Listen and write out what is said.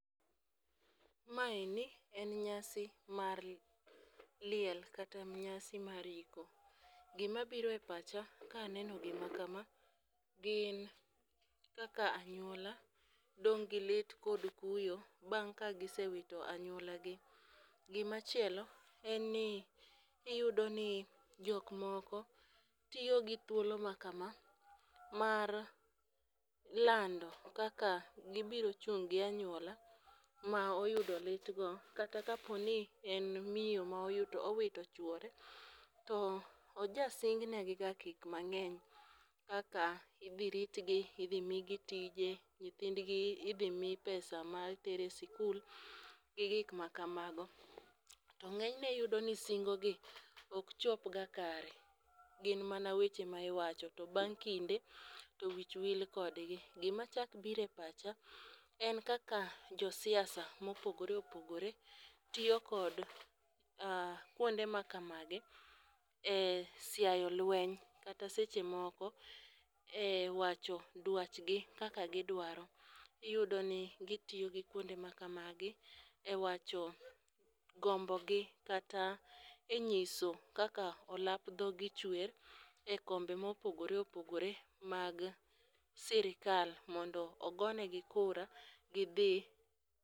Maeni, en nyasi mar liel kata nyasi mar iko. Gima biro e pacha ka aneno gima kama , gin kaka anyuola dong' gi lit kod kuyo bang' ka gisewito anywolagi. Gima chielo, en ni iyudo ni, jok moko tiyo gi thuolo ma kama mar lando kaka gibiro chung' gi anyuola, ma oyudo lit go, kata ka opo ni en miyo ma owito chuore, to ojasingnegiga gik mang'eny kaka idhi ritgi, kaka idhi migi tije, nyithindgi idhi mi pesa ma terogi e sikul, gi gik ma kamago. To ng'enyne iyudo ni singogi ok chopga kare. Gin mana weche ma iwacho to bang' kinde , to wich wil kodgi. Gima chak biro e pacha, en kaka josiasa mopogoreopogore tiyo kod kwonde ma kamagi e siayo lweny , kata seche moko e wwcho dwachgi kaka gidwaro. Iyudo ni gitiyo gi kuonde ma kamagi, e wacho gombogi kata e nyiso kaka olap dhogi chwer e kombe mopogoreopogore, mag sirikal mondo ogonegi kura gidhi.